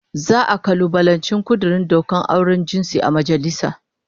Za'a kalubalanci kudurin dokar auren jinsi a majalisa